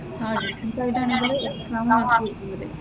ആഹ് distance ആയിട്ട് ആണെങ്കില്‍ exam മാത്രം എഴുതിയാൽ മതി.